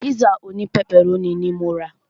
Pízà òní pẹpẹrónì ní mo rà.